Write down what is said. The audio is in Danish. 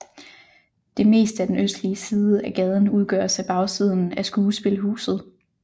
Det meste af den østlige side af gaden udgøres af bagsiden af Skuespilhuset